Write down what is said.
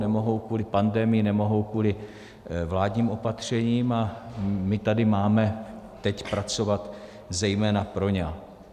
Nemohou kvůli pandemii, nemohou kvůli vládním opatřením - a my tady máme teď pracovat zejména pro ně.